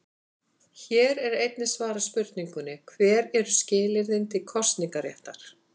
Hér er einnig svarað spurningunni: Hver eru skilyrðin til kosningaréttar?